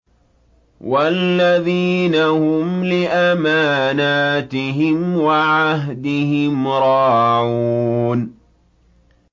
وَالَّذِينَ هُمْ لِأَمَانَاتِهِمْ وَعَهْدِهِمْ رَاعُونَ